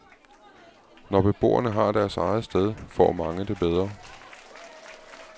Når beboerne har deres eget sted, får mange det bedre.